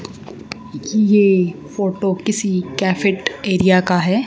ये फोटो किसी cafeteria का है।